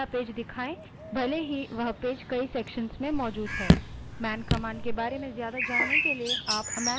आप man command के बारे में ही अधिक जानने के लिए मैंन command का उपयोग कर सकते हैं